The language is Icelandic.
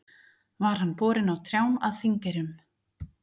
Var hann borinn á trjám að Þingeyrum.